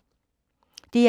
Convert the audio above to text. DR1